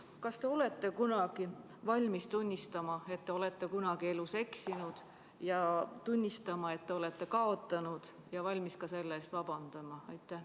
Kas te olete kunagi valmis tunnistama, et te olete elus eksinud, et te olete kaotanud, ja valmis ka selle eest vabandama?